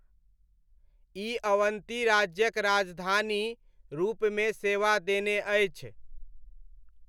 ई अवन्ती राज्यक राजधानी रूपमे सेवा देने अछि।